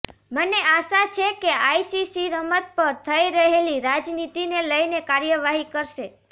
મને આશા છે કે આઈસીસી રમત પર થઇ રહેલી રાજનીતિને લઇને કાર્યવાહી કરશે